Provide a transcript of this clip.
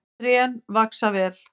Trén vaxa vel.